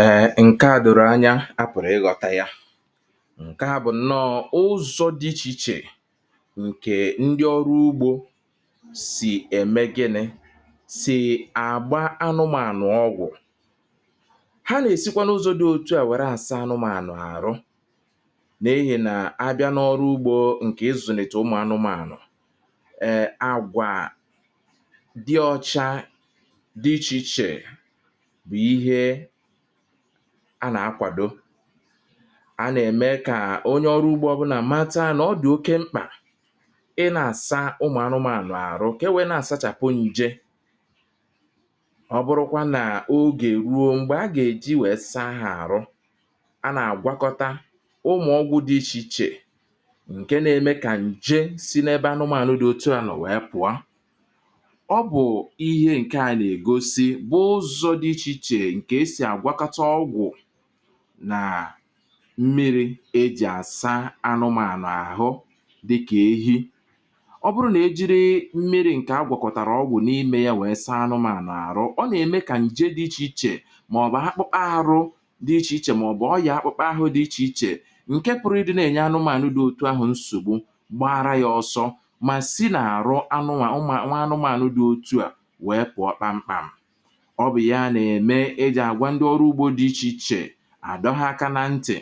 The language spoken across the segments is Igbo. Eè ǹke a dòrò anya, a pụ̀rụ̀ ị ghọ̀ta ya. ǹke a bụ̀ nọọ̇ ụzọ̇ dị ichè ichè ǹkè ndị ọrụ ugbȯ sì ème gini̇, sì àgba anụmȧnụ̀ ọgwụ̀. ha nà-èsikwanụzọ dị otu à wère àsa anụmȧnụ̀ àrụ, nà ehi̇ nà abịa n’ọrụ ugbȯ ǹkè izùnètè ụmụ̀ anụmȧnụ̀ àrụ. e àgwà dị ọcha dị ichè ichè bụ̀ ihe a nà-akwàdo. a nà-ème kà onye ọrụ ugbȯ ọ bụ nà àmatọ a nà ọ dị̀ oke mkpà ị nà-àsa ụmụ̀ anụmȧnụ̀ ànụ àrụ kà e wee nà-àsachàpụ nje. ọ bụrụkwȧ nà ogè ruo m̀gbè a gà-èji wèse ahụ̀ àrụ, a nà-àgwakọta ụmụ̀ ọgwụ̇ dị ichè ichè ǹke na-eme kà nje si n’ebe anụmȧnụ̀ dị otu ànọ wèe pụ̀a. ọ bụ̀ ihe ǹke a nà-ègosi ǹkè esì bụ ụzọ dị ịche ịche nke esị àgwakọta ọgwụ̀, nà m̀miri ejì àsa anụmànụ̀ àhụ, dịkà ehi. Ọ bụrụ nà e jiri m̀miri ǹkè a gwàkọ̀kọ̀tàrà ọgwụ̀ n’imė ya wèe saa anụmànụ̀ àhụ, ọ nà-ème kà ǹje dị ichè ichè màọbụ̀ akpụkpa àrụ dị ichè ichè màọbụ̀ ọ yà akpụkpa ahụ dị ichè ichè ǹkè pụ̀rụ̀ ịdị̇ nà-ènye anụmànụ̀ dị otu ahụ̀ nsògbu gbaara yȧ ọsọ, mà si nà-àrụ anụmà nwa anụmànụ̀ dị otu à wèe pụ̀ọ kpamkpàm̀. Ọ bụ ya mere e jì àgwà ndị ọrụ ugbȯ dị ichè ichè, à dọ́hụ̇ aka nȧ ntì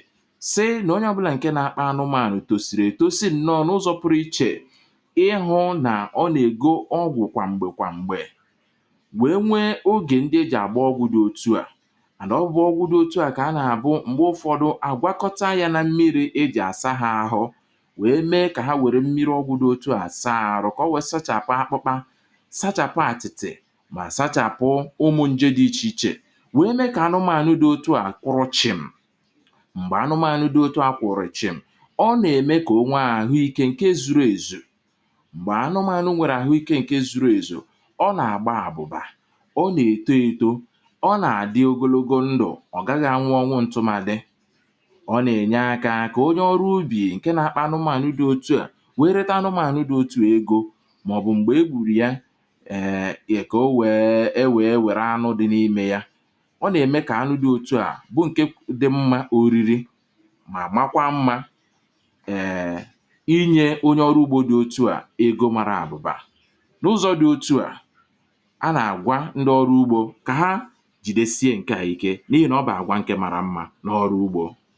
sị nà onye ọbụlà ǹke nȧ-akpa nụmȧnụ̀ tòsìrì ètò sinyȧ ǹnọ̀ n’ụzọ̇ pụrụ ichè ịhụ̇ nà ọ nà-ègo ọgwụ̀ kwà m̀gbè kwà m̀gbè, wèe nwee ogè ndị ejì àgbụọ ọgwụdị̇ otu̇, à ànọ̀ ọgwụdị̇ ọgwụdị̇ otu̇ à kà a nà-àbụ m̀gbe ụfọdụ àgwakọta yȧ nȧ-mmiri̇ ejì àsaa hȧ ahụ, wèe mee kà ha wèrè mmiri̇ ọgwụdị̇ otu̇ à saa àrụ̀ kà ọwẹ̇ sachàpụ àkpụkpa, sachàpụ àtị̀tị̀, ma sachapụ ụmụ nje dị ịche ịche, wèe mee kà anụmànụ dị otu àkwọrọ chịm. m̀gbè anụmànụ dị otu a kwọ̀rọ̀ chịm, ọ nà-ème kà ònwe àhụikė ǹke zuru èzù, m̀gbè anụmànụ nwėrė àhụikė ǹke zuru èzù. ọ nà-àgba àbụ̀ba, ọ nà-èto eto, ọ nà-àdị ogologo ndụ̀, ọ̀ gaghị anwụọ ọnwụ ǹtụmadị. ọ nà-ènye akȧ kà onye ọrụ ubì ǹke nȧ-akpa anụmànụ dị otu à wèe reta anụmànụ dị otu ègo, màọ̀bụ̀ m̀gbè e gbùrù ya [um]ka ọ um wee werụ anụ dị na ịme ya, ọ na eme ka anụ dị ọtụa bụ ǹkẹ̀ dị mmȧ oriri, mà makwa mmȧ um ịnye onye ọrụ ugbȯ dị otu à ego màrà àbụ̀bà. n’ụzọ̇ dị otu à a nà àgwa ndị ọrụ ugbȯ kà ha jìde sie ǹkẹ̀ àhụikė, n’ihi nà ọ bụ àgwa ǹkẹ̀ màrà mmȧ n’ọrụ ugbȯ.